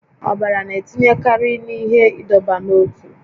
Ọbara na-etinyekarị n'ihe ịdọba n'ótú